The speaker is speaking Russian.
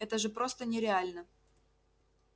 это же просто нереально